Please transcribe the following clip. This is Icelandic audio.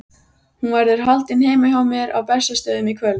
Hún verður haldin heima hjá mér á Bessastöðum í kvöld.